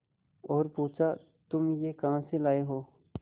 और पुछा तुम यह कहा से लाये हो